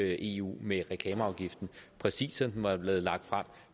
i eu med reklameafgiften præcis som den var blevet lagt frem